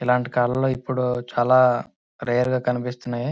ఇలాంటి కాలంలో ఇప్పుడు చాలా రేర్ గా కనిపిస్తూ ఉన్నాయి.